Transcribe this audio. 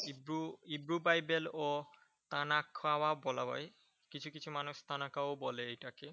Hebrew Bible ও বলা হয়। কিছু কিছু মানুষ বলে এটাকে।